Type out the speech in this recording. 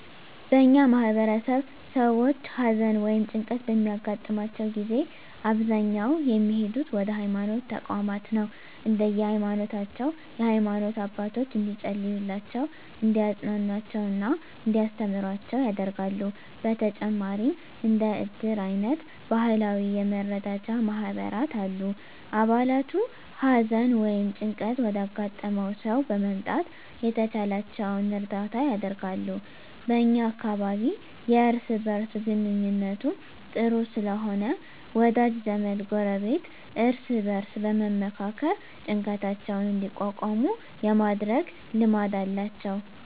በእኛ ማህበረሰብ ሰዎች ሀዘን ወ ይም ጭንቀት በሚያገጥማቸው ጊዜ በአብዛኛው የሚሄዱት ወደ ሀይማኖት ተቋማት ነው። እንደየ ሀይማኖታቸው የሃይማኖት አባቶች እንዲፀልዩላቸው፣ እንዲያፅናኑአቸው እና እንዲያስተምሩአቸው ያደርጋሉ። በተጨማሪም እንደ እድር አይነት ባህላዊ የመረዳጃ ማህበራት አሉ። አባላቱ ሀዘን ወይም ጭንቀት ወዳጋጠመው ሰው በመምጣት የተቻላቸውን እርዳታ ያደርጋሉ። በ እኛ አካባቢ የእርስ በእርስ ግንኙነቱ ጥሩ ስለሆነ ወዳጅ ዘመድ፣ ጎረቤት እርስ በእርስ በመመካከር ጭንቀታቸውን እንዲቋቋሙ የማድረግ ልማድ አላቸው።